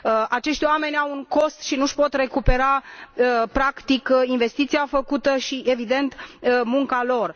Acești oameni au un cost și nu și pot recupera, practic, investiția făcută și, evident, munca lor.